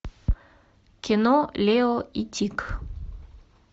кино лео и тик